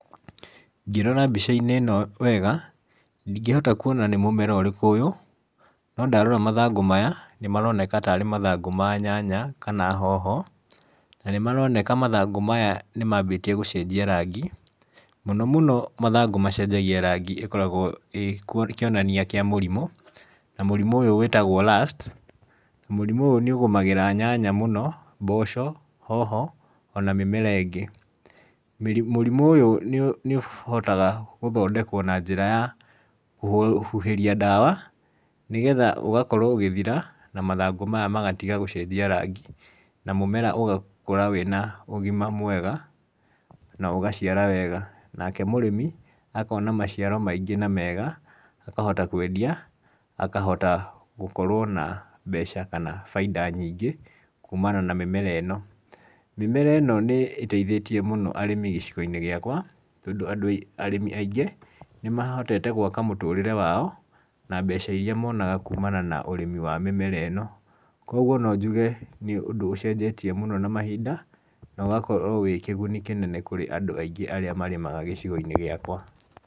Ngĩrora mbica-inĩ ĩno wega, ndingĩhota kuona nĩ mũmera ũrĩkũ ũyũ, no ndarora mathangũ nĩ maronekka tarĩ mathangũ ma nyanya kana hoho, na nĩmaroneka mathangũ maya nĩ mambĩtie gũcenjia rangi, mũno mũno mathangũ macenjagia rangi ĩkoragwo ĩ kĩonania kĩa mũrimũ, na mũrimũ ũyũ wĩtagwo lust, na mũrimũ ũyũ nĩ ũgũmagĩra nyanya mũno, mboco, hoho, ona mĩmera ĩngĩ. mũrimũ ũyũ nĩ ũhotaga gũthondekwo na njĩra ya kũhuhĩria ndawa nĩgetha ũgakorwo ũgĩthira, na mathangũ maya magatiga gũcenjia rangi, na mũmera ũgakũra wĩna ũgima mwega na ũgaciara wega, nake mũrĩmi akona maciaro maingĩ na mega akahota kwendia, akahota gũkorwo na mbeca kana baida nyingĩ kumana na mĩmera ĩno. Mĩmera ĩno nĩ ĩteithĩtie mũno arĩmi gĩcigo-inĩ gĩakwa tondũ andũ arĩmi aingĩ, nĩ mahotete gwaka mũtũrĩre wao, na mbeca iria monaga kumana na ũrĩmi wa mĩmera ĩno, koguo no njuge nĩ ũndũ ũcenjetie mũno na mahinda na ũgakorwo wĩ kĩguni kĩnene kũrĩ andũ aingĩ arĩa marĩmaga gĩcigo-inĩ gĩakwa.